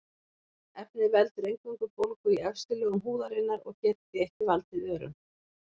Efnið veldur eingöngu bólgu í efstu lögum húðarinnar og getur því ekki valdið örum.